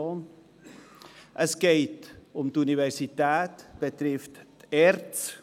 Es geht um die Universität, wodurch die ERZ betroffen ist.